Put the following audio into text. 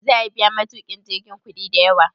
Za'a biya matukin jirgin kudi da yawa?